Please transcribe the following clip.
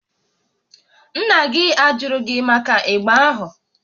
Nna gị ajụrụ gị màkà ịgba ahụ?